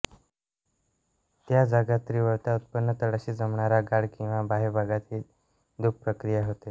त्या जागा तीव्रता उत्पन्न तळाशी जमणारा गाळ किंवा बाह्यभागात ही धूप प्रक्रिया होते